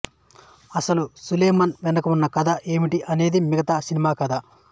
అసలు సులేమాన్ వెనుకున్న కథ ఏమిటి అనేదే మిగతా సినిమా కధ